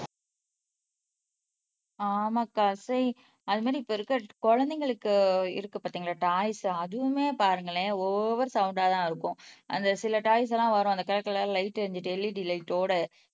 ஆமாகா சை அது மாதிரி இப்ப இருக்கிற குழந்தைங்களுக்கு இருக்கு பார்த்தீங்களா டாய்ஸ் அதுவுமே பாருங்களேன் ஓவர் சவுண்டா தான் இருக்கும் அந்த சில டாய்ஸ் எல்லாம் வரும் அந்த கலர் கலர் லைட் எறிஞ்சு LED லைட் ஓட